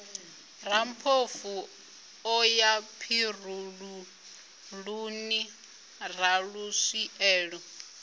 rammpofu o ya tshirululuni raluswielo